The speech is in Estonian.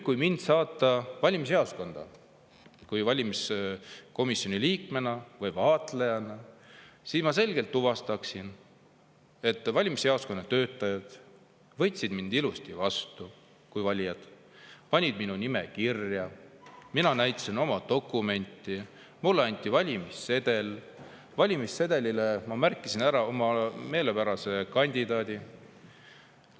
Kui mind saata valimisjaoskonda valimiskomisjoni liikmena või vaatlejana, siis ma selgelt tuvastaksin, et valimisjaoskonna töötajad võtsid mind ilusti kui valijat vastu, panid minu nime kirja, mina näitasin oma dokumenti, mulle anti valimissedel, valimissedelile ma märkisin ära oma meelepärase kandidaadi.